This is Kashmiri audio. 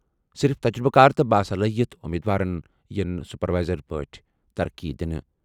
صرف تجرُبہٕ کار تہٕ باصلاحیت امیدوارَن یِن سپروائزر پٲٹھۍ ترقی دِنہٕ۔